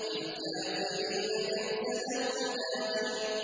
لِّلْكَافِرِينَ لَيْسَ لَهُ دَافِعٌ